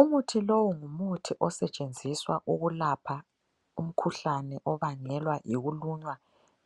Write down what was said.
Umuthi lowu ngumuthi osetshenziswa ukulapha umkhuhlane obangelwa yikulunywa